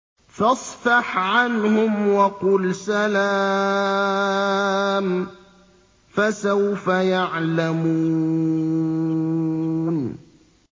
فَاصْفَحْ عَنْهُمْ وَقُلْ سَلَامٌ ۚ فَسَوْفَ يَعْلَمُونَ